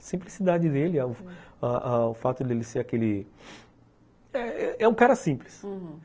A simplicidade dele, ãh ãh o fato de ele ser aquele... É um cara simples, uhum.